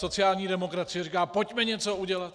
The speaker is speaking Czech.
Sociální demokracie říká: Pojďme něco udělat.